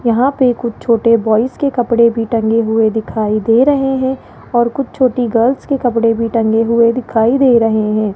यहां पे कुछ छोटे बॉयस के कपड़े भी टंगे हुए दिखाई दे रहे है और कुछ छोटी गर्ल्स के कपड़े भी टंगे हुए दिखाई दे रहे है।